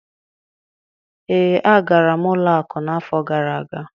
Ee, agara m ụlọ akụ n'afọ gara aga